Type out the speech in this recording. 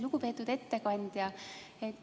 Lugupeetud ettekandja!